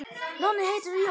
Nonni heitir Jón.